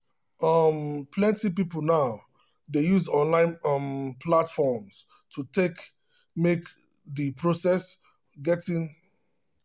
um plenty people now dey use online um platforms to make the process of getting personal um loan approval fast and easy.